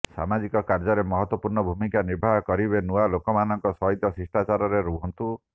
ସାମାଜିକ କାର୍ଯ୍ୟରେ ମହତ୍ବପୂର୍ଣ୍ଣ ଭୂମିକା ନିର୍ବାହ କରିବେ ନୂଆ ଲୋକମାନଙ୍କ ସହିତ ଶିଷ୍ଟାଚାରରେ ରହନ୍ତୁ